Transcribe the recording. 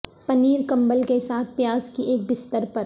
پنیر کمبل کے ساتھ پیاز کی ایک بستر پر